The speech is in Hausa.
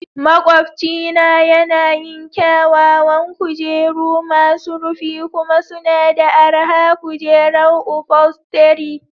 Maƙwabcina yana yin kyawawan kujeru masu rufi kuma suna da araha kujeran ufolstery